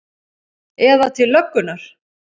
Eða til löggunnar?